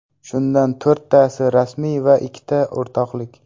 Shundan to‘rttasi rasmiy va ikkita o‘rtoqlik.